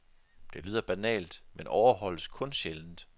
Det lyder banalt, men overholdes kun sjældent.